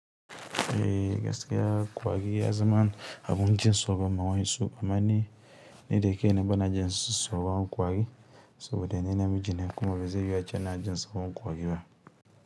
Eh gaskiya ƙwari ya zama abun jin tsoron ma wa'insu, amma ni ni da kaina bana jin tsoron ƙwari, saboda ni namijine kuma bazai yiwu ace ina jin tsoron ƙwari ba.